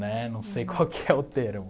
Né não sei qual que é o termo.